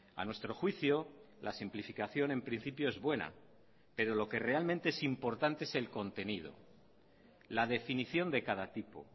a nuestro juicio la simplificación en principio es buena pero lo que realmente es importante es el contenido la definición de cada tipo